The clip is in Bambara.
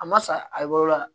A ma sa a ye yɔrɔ la